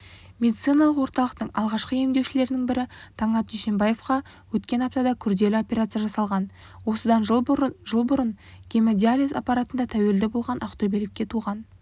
медициналық орталықтың алғашқы емделушілерінің бірі таңат дүйсенбаевқа өткен аптада күрделі операция жасалған осыдан жыл бұрын гемодиализ аппаратына тәуелді болған ақтөбелікке туған